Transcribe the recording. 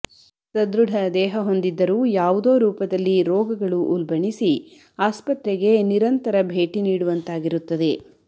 ಸದೃಢ ದೇಹ ಹೊಂದಿದ್ದರೂ ಯಾವುದೋ ರೂಪದಲ್ಲಿ ರೋಗಗಳು ಉಲ್ಬಣಿಸಿ ಆಸ್ಪತ್ರೆಗೆ ನಿರಂತರ ಭೇಟಿ ನೀಡುವಂತಾಗಿರುತ್ತದೆ